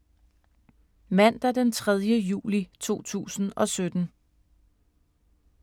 Mandag d. 3. juli 2017